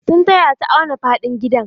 Sun taya ta auna faɗin gidan.